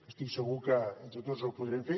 estic segur que entre tots ho podrem fer